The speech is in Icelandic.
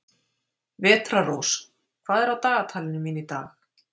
Vetrarrós, hvað er á dagatalinu mínu í dag?